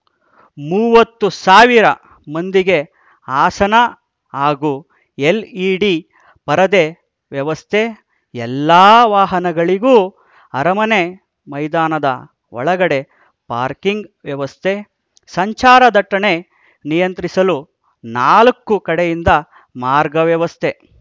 ಮೂವತ್ತು ಸಾವಿರ ಮಂದಿಗೆ ಆಸನ ಹಾಗೂ ಎಲ್‌ಇಡಿ ಪರದೆ ವ್ಯವಸ್ಥೆ ಎಲ್ಲಾ ವಾಹನಗಳಿಗೂ ಅರಮನೆ ಮೈದಾನದ ಒಳಗಡೆ ಪಾರ್ಕಿಂಗ್‌ ವ್ಯವಸ್ಥೆ ಸಂಚಾರದಟ್ಟಣೆ ನಿಯಂತ್ರಿಸಲು ನಾಲ್ಕು ಕಡೆಯಿಂದ ಮಾರ್ಗ ವ್ಯವಸ್ಥೆ